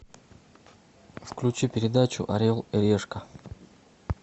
включи передачу орел и решка